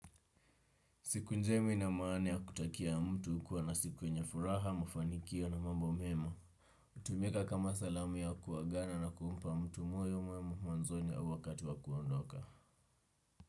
Siku njema inamaana ya kutakia mtu kuwa na siku yenye furaha, mafanikio na mambo mema. Hutumika kama salamu ya kuagana na kuumpa mtu moyo mwema mwanzoni au wakati wa kuondoka.